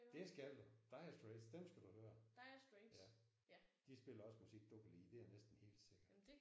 Det skal du. Dire Straits dem skal du høre. Ja. De spiller også musik du kan lide det er næsten helt sikkert